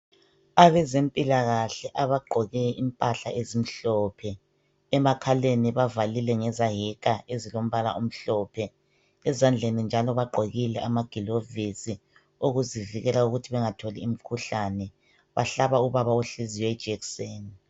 Abezempilakahle abagqoke impahla ezimhlophe emakhaleni bavalile ngezayeka ezilombala omhlophe , ezandleni njalo bagqokile amagilovisi okuzivikela ukuthi bengatholi imikhuhlane , bahlaba ubaba ohleziyo ijekiseni.